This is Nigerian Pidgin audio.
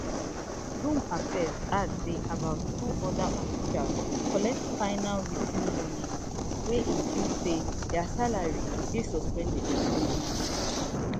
di home affairs add say about four oda officials collect final writ ten warnings wey include say dia salary go dey suspended for three months